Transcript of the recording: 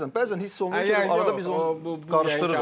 Bəzən, bəzən, bəzən hiss olunur ki, arada biz onu qarışdırırıq.